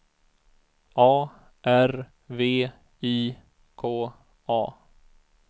A R V I K A